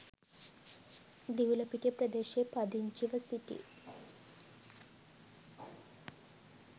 දිවුලපිටිය ප්‍රදේශයේ පදිංචිව සිටි